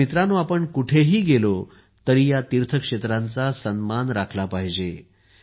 मित्रांनो आपण कुठेही गेलो तरी या तीर्थक्षेत्रांचा सन्मान राखला पाहिजे